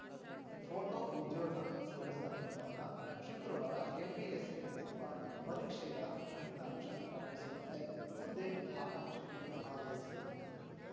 photo ಉದ್ಯೋಗ ಸೌಧದ ಮುಂಭಾಗ ಶುಕ್ರವಾರ ಕೆಪಿಎಸ್ಸಿ ನಡೆಸಿರುವ ಪರೀಕ್ಷೆಗಳ ಫಲಿತಾಂಶ ಪ್ರಕಟಿಸುವಂತೆ ಹುದ್ದೆ ಆಕಾಂಕ್ಷಿಗಳು ಆಗ್ರಹಿಸಿದರು